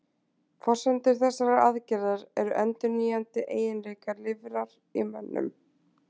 Forsendur þessarar aðgerðar eru endurnýjandi eiginleikar lifrar í mönnum.